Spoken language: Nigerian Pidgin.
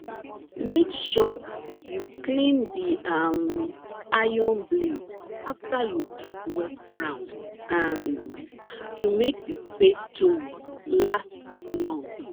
make sure you clean the um iron blade after you dig wet ground um to make the spade tools last long